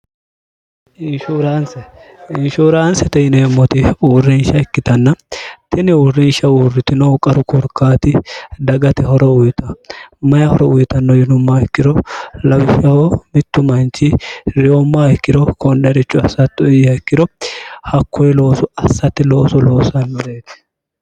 ishrnseinshuuraansi ti ineemmoti uurrinsha ikkitanna tini uurrinsha uurritinoh qaru kurkaati dagati horo uyita mayi horo uyitanno yinumma ikkiro lawisshaho mittu manchi reyomma ikkiro konne richu asatto iyya ikkiro hakkoyi loosu assatti looso loosannireeti